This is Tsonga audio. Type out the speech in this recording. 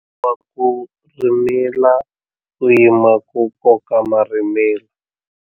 Komberiwa ku rhimila u yima ku koka marhimila.